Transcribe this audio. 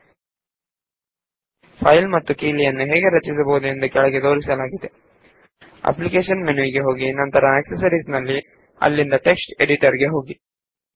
ಈಗ ನಾವು ಒಂದು ಫೈಲ್ ನ್ನು ರಚಿಸೋಣ ಅದಕ್ಕಾಗಿ ಅಪ್ಲಿಕೇಶನ್ಸ್ ಜಿಟಿಯ ಆಕ್ಸೆಸರೀಸ್ ಜಿಟಿಯ ಟೆಕ್ಸ್ಟ್ ಎಡಿಟರ್ ಗೆ ಹೋಗಿ